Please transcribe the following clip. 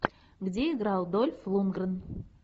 где играл дольф лундгрен